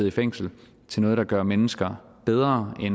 i fængsel til noget der gør mennesker bedre i